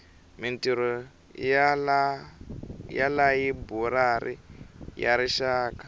mintirho ya layiburari ya rixaka